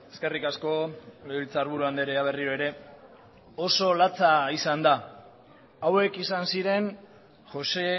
eskerrik asko legebiltzarburu andrea berriro ere oso latza izan da hauek izan ziren joxe